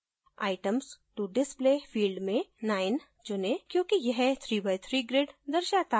items to display field में 9 चुनें क्योंकि यह 3 by 3 grid दर्शाता है